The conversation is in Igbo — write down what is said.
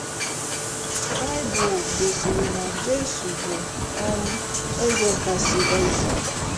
Baịbụl gosiri na Jesu bụ um Eze kasị ézè.